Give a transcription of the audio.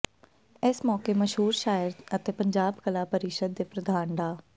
ਇਸ ਮੌਕੇ ਮਸ਼ਹੂਰ ਸ਼ਾਇਰ ਅਤੇ ਪੰਜਾਬ ਕਲਾ ਪਰਿਸ਼ਦ ਦੇ ਪ੍ਰਧਾਨ ਡਾ